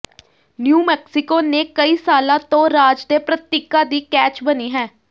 new Mexico ਨੇ ਕਈ ਸਾਲਾਂ ਤੋਂ ਰਾਜ ਦੇ ਪ੍ਰਤੀਕਾਂ ਦੀ ਕੈਚ ਬਣੀ ਹੈ